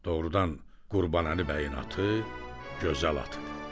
Doğrudan Qurbanəli bəyin atı gözəl atıdı.